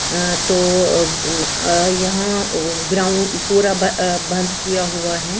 अह तो अह अ यहां ग्राउंड पूरा अ बंद किया हुआ है।